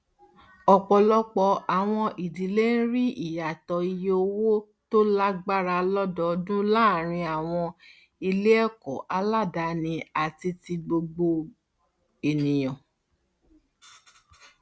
ọpọlọpọ àwọn ìdílé ń rí ìyàtọ ìye owó tó lágbára lódòdún láàárín àwọn iléẹkọ aládani àti ti gbogbo ènìyàn